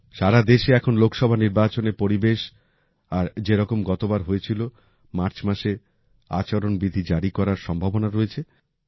সারা দেশে এখন লোকসভা নির্বাচনের পরিবেশ আর যেরকম গতবার হয়েছিল মার্চ মাসে আচরণবিধি জারি করার সম্ভাবনা রয়েছে